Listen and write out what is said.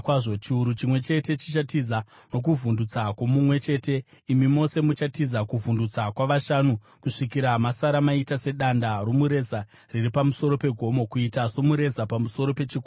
Chiuru chimwe chete chichatiza nokuvhundutsa kwomumwe chete; imi mose muchatiza kuvhundutsa kwavashanu, kusvikira masara maita sedanda romureza riri pamusoro pegomo, kuita somureza pamusoro pechikomo.”